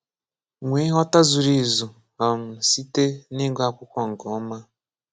Nwée nghọta zuru ezu um site na ịgụ akwụkwọ nke ọma.